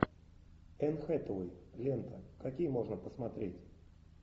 энн хэтэуэй лента какие можно посмотреть